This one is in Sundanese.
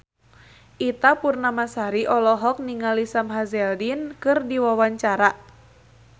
Ita Purnamasari olohok ningali Sam Hazeldine keur diwawancara